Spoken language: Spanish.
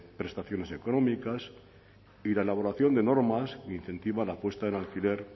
prestaciones económicas y la elaboración de normas que incentivan la puesta en alquiler